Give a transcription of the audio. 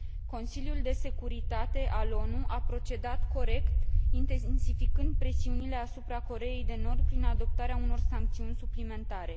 Consiliul de Securitate al ONU a procedat corect, intensificând presiunile asupra Coreei de Nord prin adoptarea unor sancțiuni suplimentare.